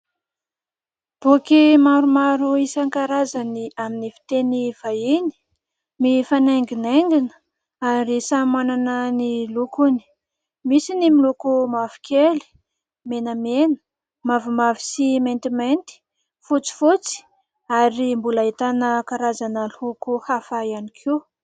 Boky maromaro isan-karazany amin'ny fiteny vahiny mifanainginaingina ary samy manana ny lokony, misy ny miloko mavokely, menamena, mavomavo sy maintimainty, fotsifotsy ary mbola ahitana karazana loko hafa ihany koa.